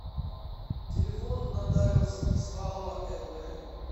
телефон нотариус беспалова лв